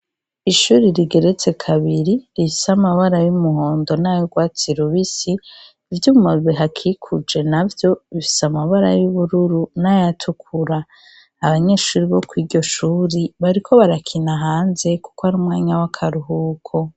Ishure rigeretse kabiri rifise amabara yumuhondo nayurwatsi rubisi , ivyuma bihakikuje navyo bifise amabara y'ubururu nayatukura abanyeshure bokwiryoshure bariko barakina hanze kuko Ari umwanya wakaruhuko.